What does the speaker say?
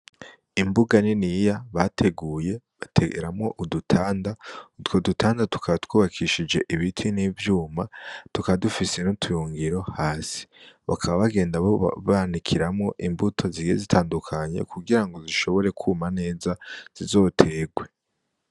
Imbuga niniya bateguye bateramwo udutanda. Utwo dutanda tukaba twubakishije ibiti n'ivyuma, tukaba dufise n'utuyungiro hasi. Bakaba bagenda banikiramwo imbuto zigiye zitandukanye kugira ngo zishobore kwuma neza, zizoterwe.